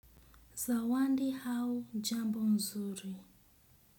Zawadi au jambo nzuri.